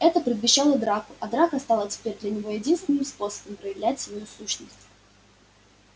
это предвещало драку а драка стала теперь для него единственным способом проявлять свою сущность